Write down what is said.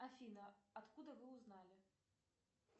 афина откуда вы узнали